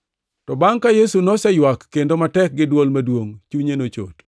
To bangʼ ka Yesu noseywak kendo matek gi dwol maduongʼ, chunye nochot.